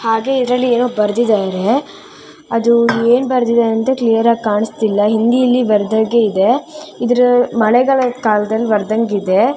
ಹಾಗೆ ಇದ್ರಲ್ಲಿ ಏನೋ ಬರ್ದಿದ್ದರೆ. ಅದು ಏನ್ ಬರ್ದಿದೆ ಅಂತ ಕ್ಲಿಯರ್ ಆಗಿ ಕಾಣಿಸ್ತಿಲ್ಲ. ಹಿಂದಿಯಲ್ಲಿ ಬರ್ದ ಹಾಗೆ ಇದೆ. ಇದ್ರ ಮಳೆಗಾಲ ಕಾಲದಲ್ಲಿ ಬರ್ದಾನ್ಗ್ ಇದೆ.